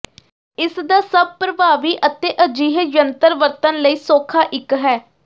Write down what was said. ਇਸ ਦਾ ਸਭ ਪਰਭਾਵੀ ਅਤੇ ਅਜਿਹੇ ਜੰਤਰ ਵਰਤਣ ਲਈ ਸੌਖਾ ਇੱਕ ਹੈ